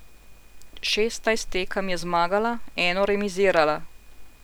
Šestnajst tekem je zmagala, eno remizirala.